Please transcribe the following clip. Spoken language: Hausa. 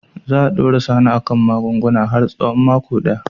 Za a dora Sani a kan magunguna har tsawon mako daya.